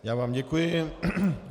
Já vám děkuji.